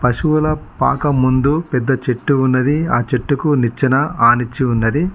పశువుల పాక ముందు పెద్ద చెట్టు ఉన్నది ఆ చెట్టుకు నిచ్చెన ఆనించి ఉన్నది.